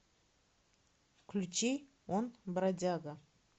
включи он бродяга